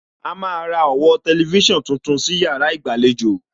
A máa ra ọ̀wọ́ tẹlifísàn tuntun sí yàrá ìgbàlejò